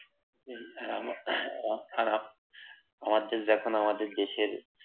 হা আর আমাদের যখন আমাদের দেশের